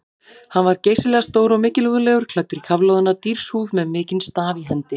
Hann var geysilega stór og mikilúðlegur, klæddur í kafloðna dýrshúð með mikinn staf í hendi.